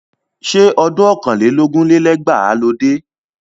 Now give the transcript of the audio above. Ṣé ọdún ọ̀kàn lé lógún lé lẹ́gbàá ló dé?